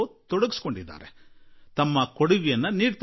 ಪ್ರತಿಯೊಬ್ಬರೂ ಇದಕ್ಕೆ ಕೊಡುಗೆ ನೀಡುತ್ತಿದ್ದಾರೆ